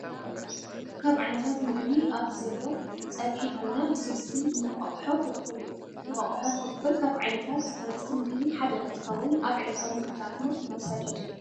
ካብ ዓይነታት ምግቢ ኣብዚ ዘሎ ፀብሒ ኮይና ብስልሲ እንቋቆሖ ፈርፍር እዩ። እንቋቆሖ ፈርፍር ካብ ዓይነተት ሃነፅቲ ምግቢ ሓደ እንትከውን ኣብ ዕለታዊ ምግብታትና ምውሳድ የድሊ።